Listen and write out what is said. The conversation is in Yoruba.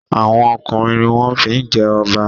Awon ọkùnrin ní wón fí jé Oba.